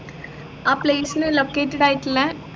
ആ place നു located ആയിട്ടുള്ളെ